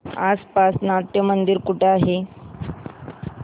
आसपास नाट्यमंदिर कुठे आहे